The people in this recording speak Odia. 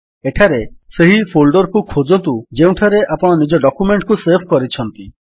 ଏଠାରେ ସେହି ଫୋଲ୍ଡର୍ କୁ ଖୋଜନ୍ତୁ ଯେଉଁଠାରେ ଆପଣ ନିଜ ଡକ୍ୟୁମେଣ୍ଟ୍ ସେଭ୍ କରିଛନ୍ତି